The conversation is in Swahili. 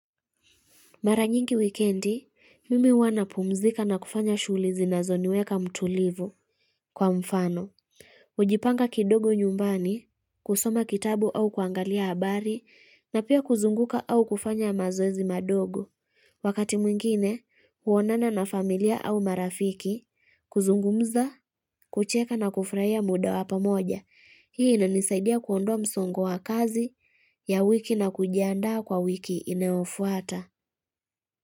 Mara nyingi wikendi, mimi huwa napumzika na kufanya shughuli zinazoniweka mtulivu kwa mfano. Kujipanga kidogo nyumbani, kusoma kitabu au kuangalia habari, na pia kuzunguka au kufanya mazoezi madogo. Wakati mwingine, huonana na familia au marafiki, kuzungumza, kucheka na kufurahia muda wa pamoja. Hii inanisaidia kuondoa msongo wa kazi ya wiki na kujiandaa kwa wiki inayofuata.